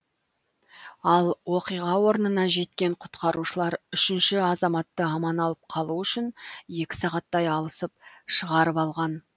ал оқиға орнына жеткен құтқарушылар үшінші азаматты аман алып қалу үшін екі сағаттай алысып шығарып алған